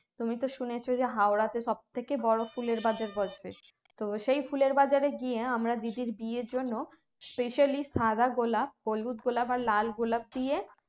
তুমি তো শুনেছ হাওড়াতে সব থেকে বড় ফুলের বাজার বসবে তো সেই ফুলের বাজারে গিয়ে হ্যাঁ আমরা দিদির বিয়ের জন্য especially সাদা গোলাপ হলুদ গোলাপ লাল গোলাপ দিয়ে